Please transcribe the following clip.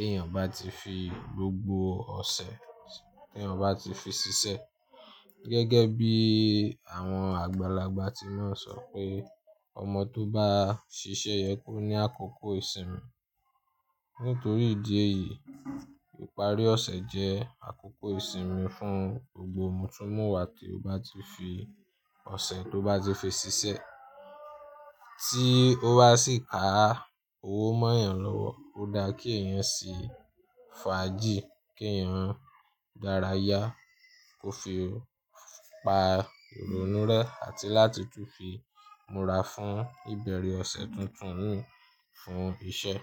èèyàn bá ti fi gbogbo ọ̀sẹ̀ tí eyan báti fi ṣiṣẹ́. Gẹ́gẹ́ bí àwọn àgbàlagbà ti máa ń sọ pé ọmọ tó bá ṣiṣẹ́ yẹ kó ní àkókò ìsinmi. Nítorí ìdí èyí, ìparí ọ̀sẹ̀ jẹ́ àkókò ìsinmi fún gbogbo mutunmúwa tí ó bá ti fi ọ̀sẹ̀ tó bá ti fi ṣiṣẹ́. Tí ó bá sì ká owó mọ́ èèyàn lọ́wọ́, ó dá kí èèyàn sì fàájì, kí èèyàn dára yá, kó fi pa ironu rẹ́ àti láti tún fi múra fún ìbẹ̀rẹ̀ ọ̀sẹ̀ tuntun fún iṣẹ́.